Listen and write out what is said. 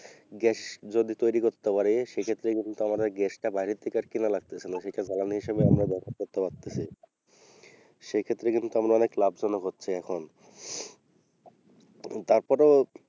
gass যদি তৈরি করতে পারি সেইক্ষেত্রে কিন্তু আমাদের gas টা বাইরে থেকে আর কেনা লাগতেছে না সেটা জ্বালানী হিসাবে আমরা ব্যবহার করতে পারতেছি সেক্ষেত্রেও কিন্তু আমরা অনেক লাভজনক হচ্ছি এখন তারপরেও,